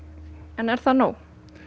er það nóg